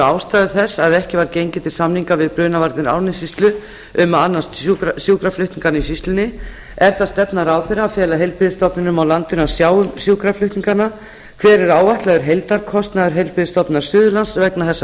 ástæður þess að ekki var gengið til samninga við brunavarnir árnessýslu um að annast sjúkraflutninga í sýslunni annars er það stefna ráðherra að fela heilbrigðisstofnunum á landinu að sjá um sjúkraflutningana þriðji hver er áætlaður heildarkostnaður heilbrigðisstofnunar suðurlands vegna þessa